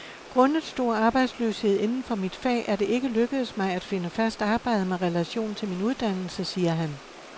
Grundet stor arbejdsløshed inden for mit fag er det ikke lykkedes mig at finde fast arbejde med relation til min uddannelse, siger han.